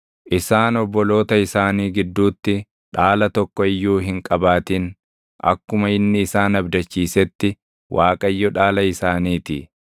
Isaan obboloota isaanii gidduutti dhaala tokko iyyuu hin qabaatin; akkuma inni isaan abdachiisetti Waaqayyo dhaala isaaniitii.